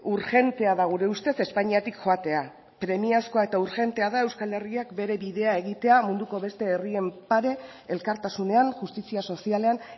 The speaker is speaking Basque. urgentea da gure ustez espainiatik joatea premiazkoa eta urgentea da euskal herriak bere bidea egitea munduko beste herrien pare elkartasunean justizia sozialean